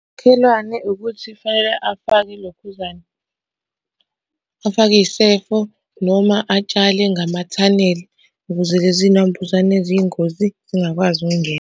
Makhelwane ukuthi kufanele afake ilokhuzana, afake iy'sefo noma atshale ngamathanela ukuze lezi nambuzane eziyingozi zingakwazi ukungena.